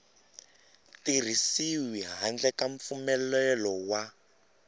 tirhisiwi handle ka mpfumelelo wa